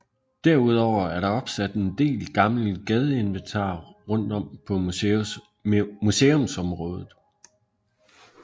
Derudover er der opsat en del gammelt gadeinventar rundt om på museumsområdet